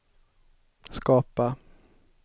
skapa